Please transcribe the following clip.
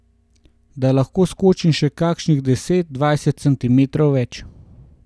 Da lahko skočim še kakšnih deset, dvajset centimetrov več.